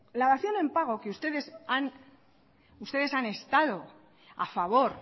la dación en pago que ustedes han estado a favor